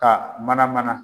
Ka mana mana.